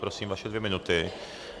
Prosím, vaše dvě minuty.